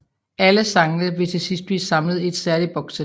Alle sangene vil til sidst blive samlet i et særligt bokssæt